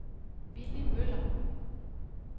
Willy Møller